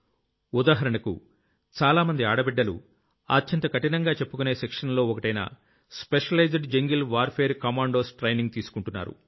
ఉదాహరణకు చాలామంది ఆడబిడ్డలు అత్యంత కఠినంగా చెప్పుకునే Trainingsలో ఒకటైన specialised jungle warfare commandos training తీసుకుంటున్నారు